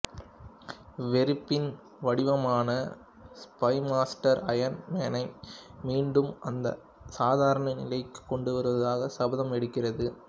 வெறுப்பின் வடிவமான ஸ்பைமாஸ்டர் அயன் மேனை மீண்டும் அந்த சாதாரண நிலைக்குக் கொண்டுவருவதாக சபதம் எடுக்கிறது